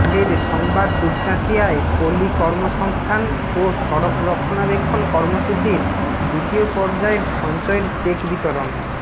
আগের সংবাদ দুপচাঁচিয়ায় পল্লী কর্মসংস্থান ও সড়ক রক্ষণাবেক্ষণ কর্মসূচীর দ্বিতীয় পর্যায়ের সঞ্চয়ের চেক বিতরণ